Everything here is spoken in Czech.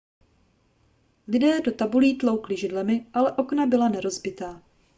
lidé do tabulí tloukli židlemi ale okna byla nerozbitná